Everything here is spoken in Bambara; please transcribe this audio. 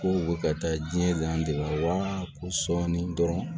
Ko u bɛ ka taa diɲɛ de wa ko sɔɔni dɔrɔn